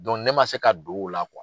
ne man se ka don o la